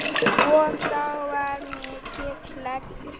Og þá var mikið hlegið.